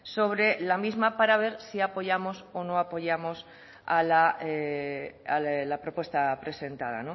sobre la misma para ver si apoyamos o no apoyamos la propuesta presentada